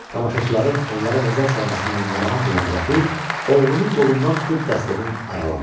Tamaşaçıların onlara nəzər salmasından narahat olan Rəfi, oğlunun qolundan tutub dəstədən aralandı.